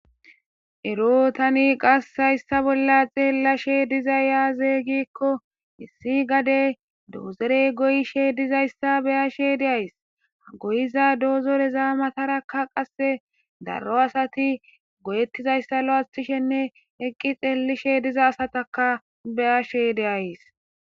ero tani qassayssa bolla xeellashe diza yaazey gikko issi gade doozerey goyishe dizayssa beyashe deays goyiza doozorezaa matarakka qasse darro asati goyettizayssa lo7asthishenne eqqi xeellishe diza asataka beyashe deays